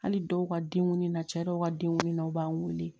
Hali dɔw ka denkundi na cɛ dɔw ka denkun na u b'an weele